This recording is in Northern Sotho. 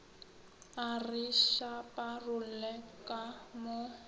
a re šaparolle ka mo